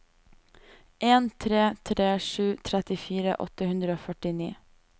en tre tre sju trettifire åtte hundre og førtini